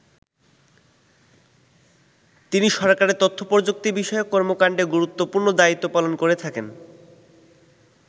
তিনি সরকারের তথ্য প্রযুক্তি বিষয়ক কর্মকান্ডে গুরুত্বপূর্ণ দায়িত্ব পালন করে থাকেন।